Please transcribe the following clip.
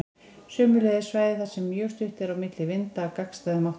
Sömuleiðis svæði þar sem mjög stutt er á milli vinda af gagnstæðum áttum.